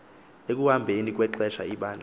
ekuhambeni kwexesha ibandla